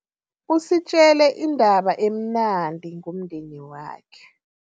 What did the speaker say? Usitjele indaba emnandi ngomndeni wakhe.